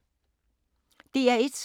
DR1